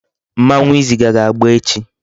Mmanwu Izaga ga-agba echi